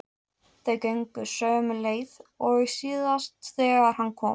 Þau gengu sömu leið og síðast þegar hann kom.